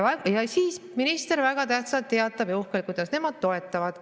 Ja siis minister väga tähtsalt ja uhkelt teatab, kuidas nemad toetavad.